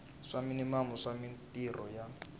swa minimamu swa mintirho ya